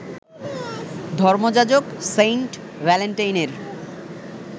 ধর্মযাজক saint ভ্যালেন্টাইনের